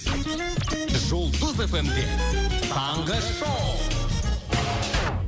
жұлдыз эф эм де таңғы шоу